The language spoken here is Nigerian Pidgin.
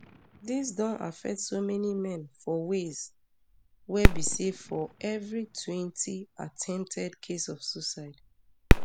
dis don affect so many men for ways wey be say for evri twenty attempted case of suicide